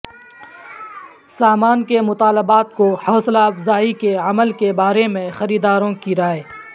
سامان کے مطالبات کو حوصلہ افزائی کے عمل کے بارے میں خریداروں کی رائے